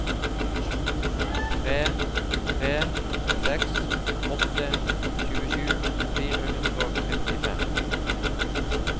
tre tre seks åtte tjuesju fire hundre og trettifem